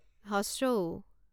উ